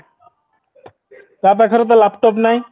ତା ପାଖରେ ତ laptop ନାହିଁ